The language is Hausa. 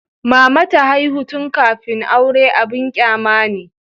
Mama ta haihu tun kafin aure abin kyama ne.